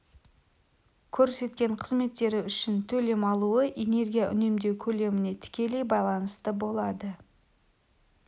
көрсеткен қызметтері үшін төлем алуы энергия үнемдеу көлеміне тікелей байланысты болады